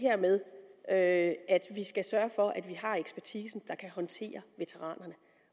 med at vi skal sørge for at vi har ekspertisen der kan håndtere veteranerne